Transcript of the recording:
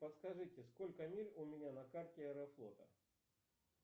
подскажите сколько миль у меня на карте аэрофлота